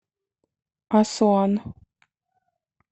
асуан